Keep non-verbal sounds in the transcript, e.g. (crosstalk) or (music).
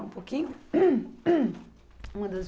um pouquinho. (coughs) Uma das